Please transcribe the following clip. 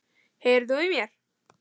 HEYRIR ÞÚ Í MÉR?!